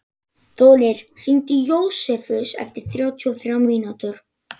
Þórir, hringdu í Jósefus eftir þrjátíu og þrjár mínútur.